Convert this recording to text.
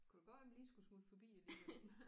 Kunne da godt være man lige skulle smutte forbi alligevel